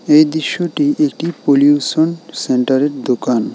এই দৃশ্যটি একটি পলিউশন সেন্টারের দোকান।